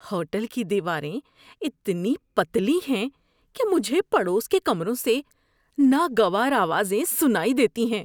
Hotel کی دیواریں اتنی پتلی ہیں کہ مجھے پڑوس کے کمروں سے ناگوار آوازیں سنائی دیتی ہیں۔